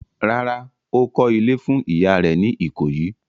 Rárá, ó kọ́ ilé fún ìyá rẹ̀ ní Ìkòyí.